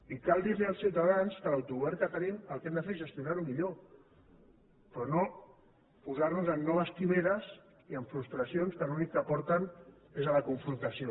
i cal dir als ciutadans que l’autogovern que tenim el que hem de fer és gestionar lo millor però no posar nos en noves quimeres i en frustracions que a l’únic que porten és a la confrontació